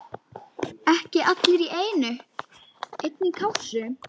Ekki allir í einni kássu!